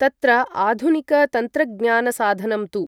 तत्र आधुनिकतन्त्रज्ञानसाधनं तु